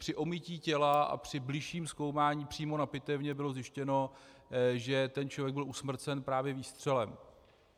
Při omytí těla a při bližším zkoumání přímo na pitevně bylo zjištěno, že ten člověk byl usmrcen právě výstřelem.